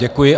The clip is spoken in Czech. Děkuji.